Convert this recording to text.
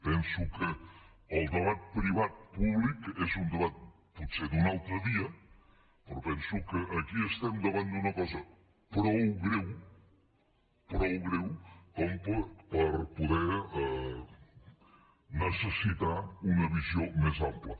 penso que el debat privat públic és un debat potser d’un altre dia però penso que aquí estem davant d’una cosa prou greu prou greu per poder necessitar una visió més ampla